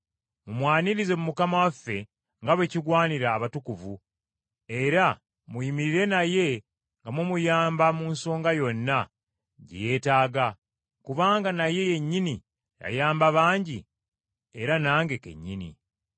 Mumwanirize mu Mukama waffe, nga bwe kigwanidde abatukuvu, era muyimirire naye nga mumuyamba mu nsonga yonna gye yeetaaga, kubanga naye yennyini yayamba bangi era nange kennyini.